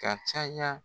Ka caya